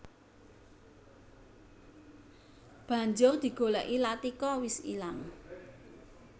Banjur digolèki Latika wis ilang